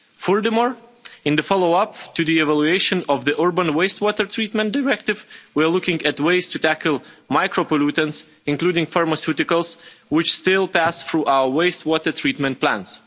Furthermore, in the follow up to the evaluation of the Urban Waste Water Treatment Directive, we are looking at ways to tackle micropollutants, including pharmaceuticals, which still pass through our waste water treatment plants.